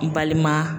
N balima